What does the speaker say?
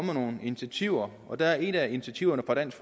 med nogle initiativer og der er et af initiativerne fra dansk